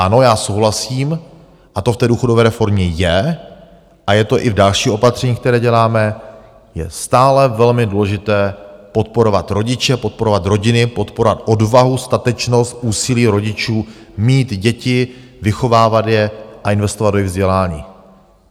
Ano, já souhlasím, a to v té důchodové reformě je a je to i v dalších opatřeních, která děláme, je stále velmi důležité podporovat rodiče, podporovat rodiny, podporovat odvahu, statečnost, úsilí rodičů mít děti, vychovávat je a investovat do jejich vzdělání.